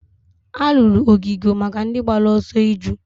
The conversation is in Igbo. a rụrụ ogige maka ndị gbara ọsọ iju